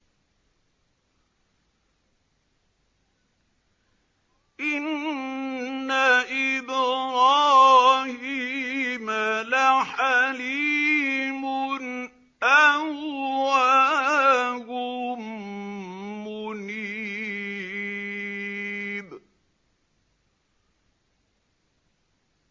إِنَّ إِبْرَاهِيمَ لَحَلِيمٌ أَوَّاهٌ مُّنِيبٌ